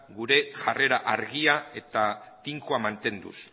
gure jarrera argia eta tinkoa mantenduz